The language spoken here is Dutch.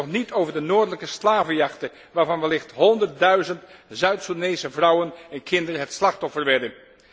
En dan spreken wij nog niet over de noordelijke slavenjachten, waarvan wellicht honderdduizend Zuid Soedanese vrouwen en kinderen het slachtoffer werden.